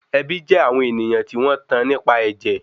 Ẹbí jé àwọn ènìyàn tí wọ́n tán nípa ẹ̀jẹ̀